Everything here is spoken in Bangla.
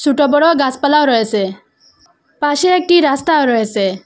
ছোট বড়ো গাছপালাও রয়েসে পাশে একটি রাস্তা রয়েসে ।